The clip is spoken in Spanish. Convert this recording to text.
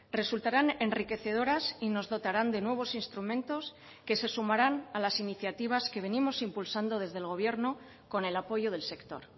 resultarán enriquecedoras y nos dotarán de nuevos instrumentos que se sumarán a las iniciativas que venimos impulsando desde el gobierno con el apoyo del sector